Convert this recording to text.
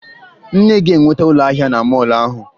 Nne ga-enweta ụlọ ahịa na mọọlụ ahụ